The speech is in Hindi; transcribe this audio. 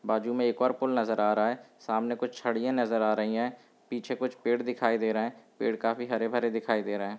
बाजू में एक और पुल नजर आ रहा है सामने कुछ छड़ियां नजर आ रही हैं पीछे कुछ पेड़ दिखाई दे रहे हैं पेड़ काफी हरे-भरे दिखाई दे रहे हैं।